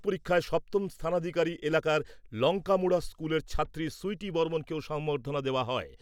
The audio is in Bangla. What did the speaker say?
পরীক্ষায় সপ্তম স্থানাধিকারী এলাকার লঙ্কামুড়া স্কুলের ছাত্রী সুইটি বর্মনকেও সংবর্ধনা দেওয়া হয়।